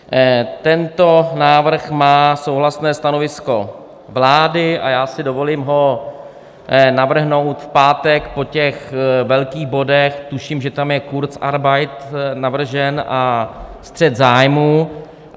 Tento návrh má souhlasné stanovisko vlády a já si dovolím ho navrhnout v pátek po těch velkých bodech - tuším, že tam je kurzarbeit navržen a střet zájmů.